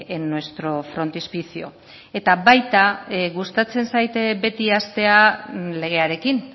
en nuestro frontispicio eta baita gustatzen zait beti hastea legearekin